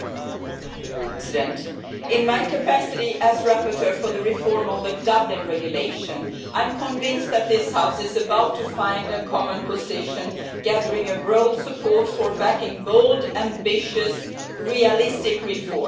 Mr President, in my capacity as rapporteur for the reform of the Dublin Regulation, I am convinced that this House is about to find a common position, gathering broad support for backing bold, ambitious and realistic reforms.